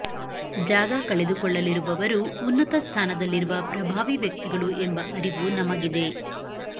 ಜಾಗ ಕಳೆದುಕೊಳ್ಳಲಿರುವವರು ಉನ್ನತ ಸ್ಥಾನದಲ್ಲಿರುವ ಪ್ರಭಾವಿ ವ್ಯಕ್ತಿಗಳು ಎಂಬ ಅರಿವು ನಮಗಿದೆ